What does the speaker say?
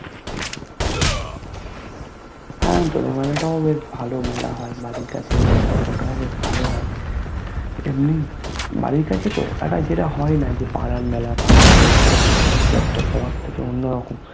হ্যা দোলের মেলাটাও অনেক ভালো মেলা হয় বাড়ির কাছের মেলা ওটাও বেশ ভালো হয় এমনি বাড়ির কাছে তো একটা যেটা হয় না যে পাড়ার মেলা পাড়ার অনুষ্টান মানে সব কিছু একটা সবার থেকে অন্যরকম